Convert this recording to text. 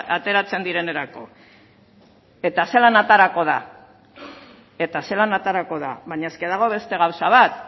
ateratzen direnerako eta zelan aterako da eta zelan aterako da baina eske dago beste gauza bat